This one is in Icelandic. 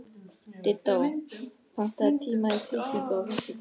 Diddú, pantaðu tíma í klippingu á föstudaginn.